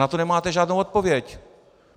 Na to nemáte žádnou odpověď.